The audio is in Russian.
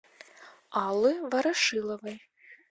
аллы ворошиловой